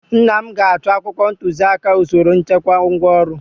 nna m ga-achọ akwụkwọ ntuziaka usoro nchekwa ngwaọrụ